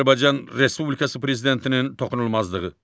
Azərbaycan Respublikası Prezidentinin toxunulmazlığı.